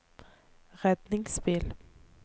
redningsbil